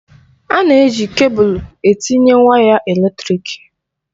A na-eji kebụl etinye waya eletrịk.